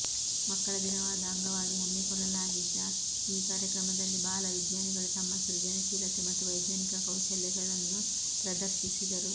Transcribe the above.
ಮಕ್ಕಳ ದಿನದ ಅಂಗವಾಗಿ ಹಮ್ಮಿಕೊಳ್ಳಲಾಗಿದ್ದ ಈ ಕಾರ್ಯಕ್ರಮದಲ್ಲಿ ಬಾಲ ವಿಜ್ಞಾನಿಗಳು ತಮ್ಮ ಸೃಜನಶೀಲತೆ ಮತ್ತು ವೈಜ್ಞಾನಿಕ ಕೌಶಲ್ಯಗಳನ್ನು ಪ್ರದರ್ಶಿಸಿದರು